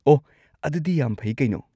ꯑꯣꯍ, ꯑꯗꯨꯗꯤ ꯌꯥꯝ ꯐꯩ ꯀꯩꯅꯣ!